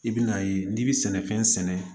I bɛn'a ye n'i bɛ sɛnɛfɛn sɛnɛ